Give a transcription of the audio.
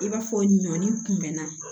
I b'a fɔ ɲɔni kunbɛnna